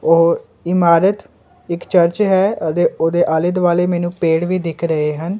ਓਹ ਇਮਾਰਤ ਇੱਕ ਚਰਚ ਹੈ ਅਤੇ ਓਹਦੇ ਆਲ਼ੇ ਦੁਆਲ਼ੇ ਮੈਨੂੰ ਪੇੜ ਵੀ ਦਿੱਖ ਰਹੇ ਹਨ।